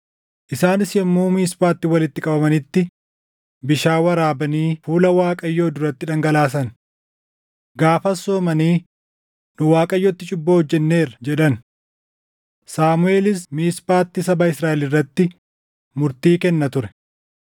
Isaanis yommuu Miisphaatti walitti qabamanitti bishaan waraabanii fuula Waaqayyoo duratti dhangalaasan. Gaafas soomanii, “Nu Waaqayyotti cubbuu hojjenneerra” jedhan. Saamuʼeelis Miisphaatti saba Israaʼel irratti murtii kenna ture.